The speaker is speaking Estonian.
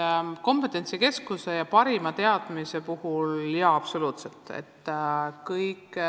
Et sellistes kompetentsikeskuses on parimad teadmised – jaa, olen absoluutselt nõus.